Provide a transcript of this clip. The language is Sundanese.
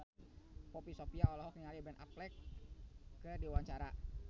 Poppy Sovia olohok ningali Ben Affleck keur diwawancara